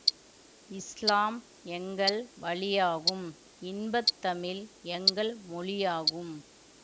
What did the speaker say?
இஸ்லாம் எங்கள் வழியாகும் இன்பத்தமிழ் எங்கள் மொழியாகும்